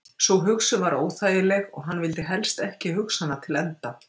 Sú hugsun var óþægileg og hann vildi helst ekki hugsa hana til enda.